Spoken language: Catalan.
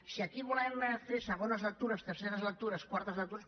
si aquí hi volem fer segones lectures terceres lectures quartes lectures